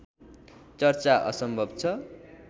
चर्चा असम्भव छ